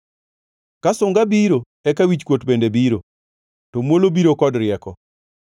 Ka sunga biro, eka wichkuot bende biro, to muolo biro kod rieko.